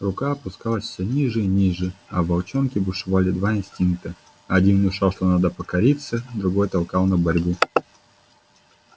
рука опускалась всё ниже и ниже а в волчонке бушевали два инстинкта один внушал что надо покориться другой толкал на борьбу